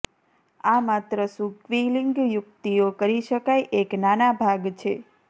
આ માત્ર શું ક્વિલિંગ યુકિતઓ કરી શકાય એક નાના ભાગ છે